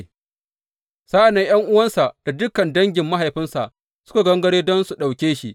Sa’an nan ’yan’uwansa da dukan dangin mahaifinsa suka gangaro don su ɗauke shi.